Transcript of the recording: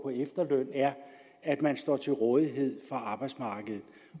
efterløn er at man står til rådighed for arbejdsmarkedet